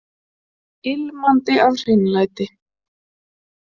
Ilmandi af hreinlæti.